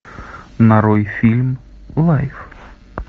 нарой фильм лайф